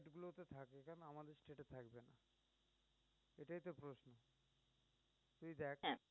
হ্যাঁ